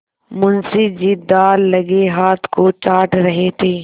मुंशी जी दाललगे हाथ को चाट रहे थे